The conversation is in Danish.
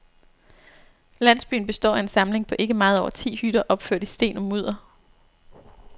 Landsbyen består af en samling på ikke meget over ti hytter opført i sten og mudder.